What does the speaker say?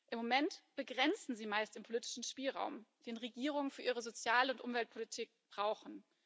Im Moment begrenzen sie meist den politischen Spielraum, den Regierungen für ihre Sozial und Umweltpolitik brauchen.